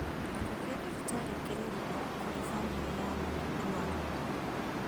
Gĩkuũ gĩa thibitarĩ kĩrĩ ruo kũrĩ bamĩrĩ ya mũrũaru